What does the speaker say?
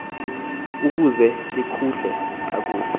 ukuze likhule kakuhle